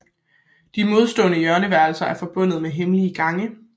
De modstående hjørneværelser er forbundet med hemmelige gange